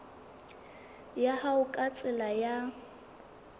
ya hao ka tsela ya